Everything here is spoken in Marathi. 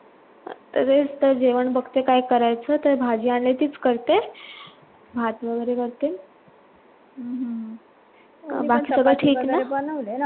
तेच तर जेवण बघते काय करायचं तर भाजी आंनड्या चिस करते भात वगेरे करते बाकी सगळं ठीक न